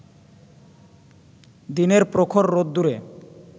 দিনের প্রখর রোদ্দুরে